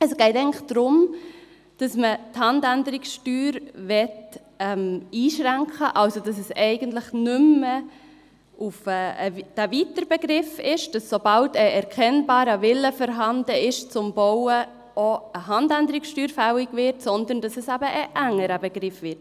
– Es geht eigentlich darum, dass man die Handänderungssteuer einschränken möchte, dass es eigentlich also nicht mehr dieser weite Begriff ist, wonach eine Handänderungssteuer fällig wird, sobald ein Wille zu bauen erkennbar ist, sondern dass es eben ein engerer Begriff wird.